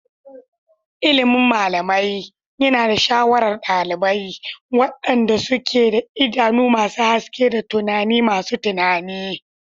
Ilimin malamai yana da sha'awar ɗalibai, waɗanda suke da idanu masu haske da tunani masu tunani.